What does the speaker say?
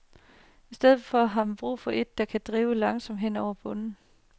I stedet har man brug for et, som kan drive langsomt hen over bunden.